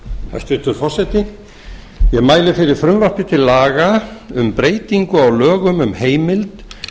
hæstvirtur forseti ég mæli fyrir frumvarpi til laga um breytingu á lögum um heimild